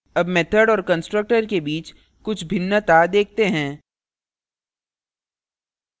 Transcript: अब method और constructor के बीच कुछ भिन्नता देखते हैं